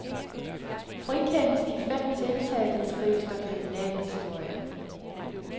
Frikendes de fem tiltalte, skrives der kriminalhistorie.